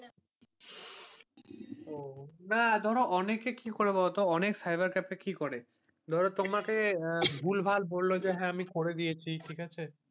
না ধরো অনেকে কি বলতো অনেক সাইবার ক্যাফ এ কি করে ধরো তোমাকে তোমাকে ভুলভাল বলল যে হ্যাঁ আমি করে দিয়েছি ঠিক আছে,